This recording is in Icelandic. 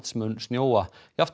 mun snjóa jafnt á